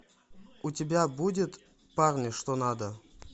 у тебя будет парни что надо